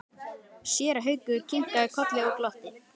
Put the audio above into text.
Séra Haukur kinkaði kolli og glotti.